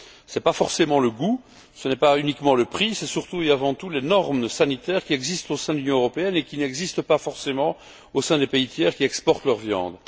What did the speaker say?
Ce n'est pas forcément le goût, ce n'est pas uniquement le prix, c'est surtout et avant tout les normes sanitaires qui existent au sein de l'Union européenne et qui n'existent pas forcément au sein des pays tiers qui exportent leur viande.